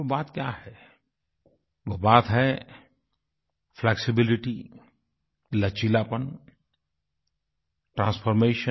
वो बात क्या है वो बात है फ्लेक्सिबिलिटी लचीलापन ट्रांसफॉर्मेशन